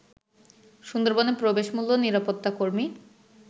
সুন্দরবনে প্রবেশ মূল্য, নিরাপত্তা কর্মী